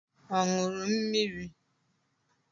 Ọ ṅụrụ mmiri?